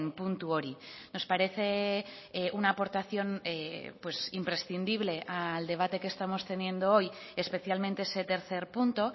puntu hori nos parece una aportación imprescindible al debate que estamos teniendo hoy especialmente ese tercer punto